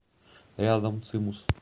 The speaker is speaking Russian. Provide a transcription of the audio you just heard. рядом цимус